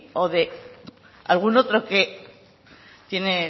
o de algún otro que tiene